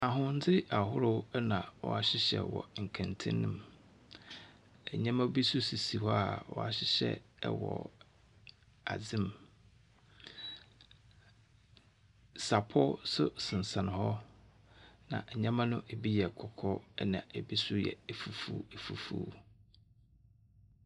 Ahwendze ahorow na wɔahyehyɛ wɔ nkɛntɛn mu. Nneɛma bi nso sisi hɔ a wɔahyehyɛ wɔ adzem. Sapɔ nso sensɛn hɔ, na nneɛma no bi yɛ kɔkɔɔ, ɛnna ebi nso yɛ afufuoafufuo.